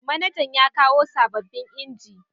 Manajan yakawo sababbin inji